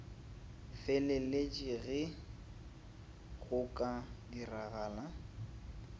feleletše ge go ka diragala